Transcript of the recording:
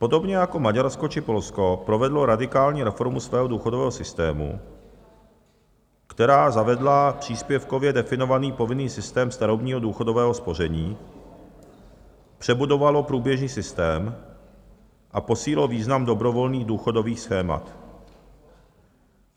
Podobně jako Maďarsko či Polsko provedlo radikální reformu svého důchodového systému, která zavedla příspěvkově definovaný povinný systém starobního důchodového spoření, přebudovalo průběžný systém a posílilo význam dobrovolných důchodových schémat.